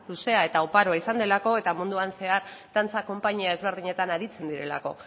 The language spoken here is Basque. eta oparoa izan delako eta munduan zehar dantza konpainia ezberdinetan aritzen direlako